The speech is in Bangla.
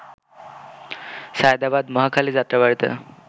সায়েদাবাদ-মহাখালী-যাত্রাবাড়ীতে